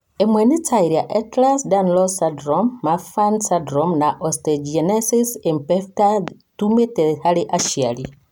Ĩmwe, ĩrĩa nĩ ta Ehlers Danlos syndrome, Marfan syndrome na osteogenesis imperfecta ĩumĩte harĩ aciari.